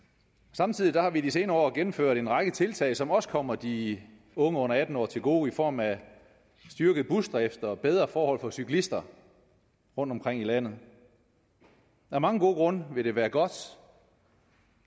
samtidig har vi i de senere år gennemført en række tiltag som også kommer de unge under atten år til gode i form af styrket busdrift og bedre forhold for cyklisterne rundtomkring i landet af mange gode grunde vil det være godt